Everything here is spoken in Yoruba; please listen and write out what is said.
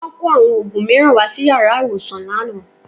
Wọ́n kó àwọn òògùn mìíràn wá sí yàrá ìwòsàn lánàá